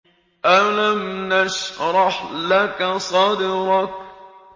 أَلَمْ نَشْرَحْ لَكَ صَدْرَكَ